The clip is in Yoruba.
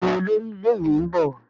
Béèni Olórí ilé ìwé nbọ.